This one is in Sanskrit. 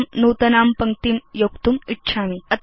अहं नूतनां पङ्क्तिं योक्तुम् इच्छामि